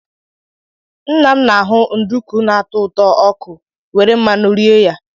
Nna m na-ahụ nduku na-atọ ụtọ ọkụ were mmadụ nri rie ya.